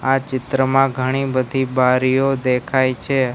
આ ચિત્રમાં ઘણી બધી બારીઓ દેખાય છે.